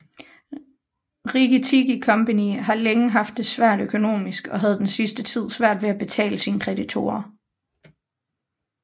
Rikki Tikki Company havde længe haft det svært økonomisk og havde den sidste tid svært ved at betale sine kreditorer